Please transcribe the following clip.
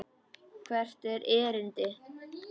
Hvert er erindi?